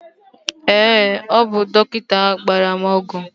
ee, ọ bụ dọkịta ahụ gbara m ọgwụ